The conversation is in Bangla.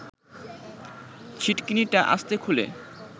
ছিটকিনিটা আস্তে খুলে